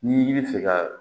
Ni i bɛ fɛ ka